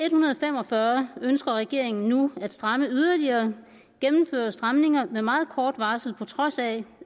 en hundrede og fem og fyrre ønsker regeringen nu at stramme yderligere og gennemføre stramninger med meget kort varsel på trods af